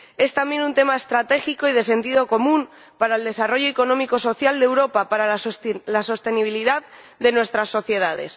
Es también un tema estratégico y de sentido común para el desarrollo económico y social de Europa, para la sostenibilidad de nuestras sociedades.